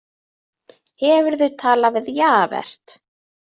Hefurðu talað við Javert?